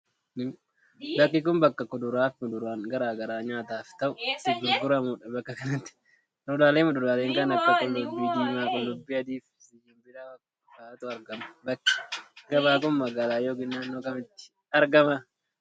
Bakki kun, bakka kuduraa fi muduraan garaa graa nyaataaf ta'u itti gurguramuu dha. Bakka kanatti kuduraalee fi muduraalee kan akka: qullubbii diimaa ,qullubbii adii fi zinjibila faatu argama. Bakki gabaa kun, magaalaa yokin naannoo kamitti argama?